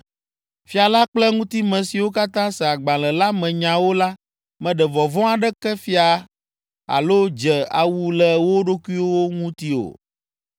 Fia la kple eŋutime siwo katã se agbalẽ la me nyawo la meɖe vɔvɔ̃ aɖeke fia alo dze awu le wo ɖokuiwo ŋuti o.